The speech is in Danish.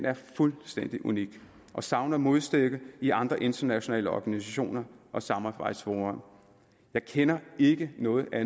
er fuldstændig unik og savner modstykke i andre internationale organisationer og samarbejdsfora jeg kender ikke noget